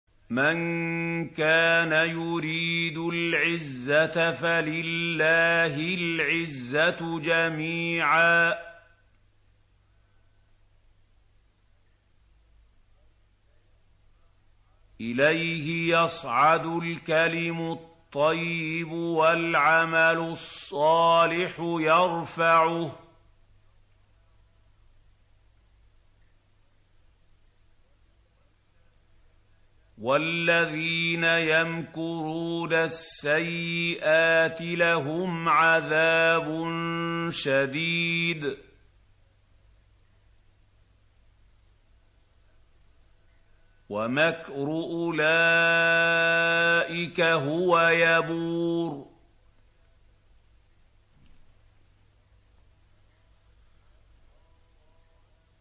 مَن كَانَ يُرِيدُ الْعِزَّةَ فَلِلَّهِ الْعِزَّةُ جَمِيعًا ۚ إِلَيْهِ يَصْعَدُ الْكَلِمُ الطَّيِّبُ وَالْعَمَلُ الصَّالِحُ يَرْفَعُهُ ۚ وَالَّذِينَ يَمْكُرُونَ السَّيِّئَاتِ لَهُمْ عَذَابٌ شَدِيدٌ ۖ وَمَكْرُ أُولَٰئِكَ هُوَ يَبُورُ